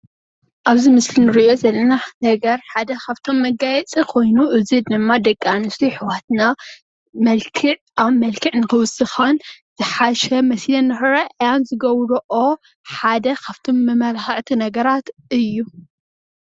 ኣብዚ ምስሊ እንሪኦ ዘለና ነገር ሓደ ኻፍቶም መጋየፂ ኾይኑ እዚ ድማ ደቂ ኣንስትዮኣሕዋትና መልክዕ ኣብ መልክዕ ንኽህልወን ይጠቅም።